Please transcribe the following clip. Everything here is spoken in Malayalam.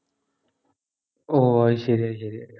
ഓഹ് അത് ശെരി അത് ശെരി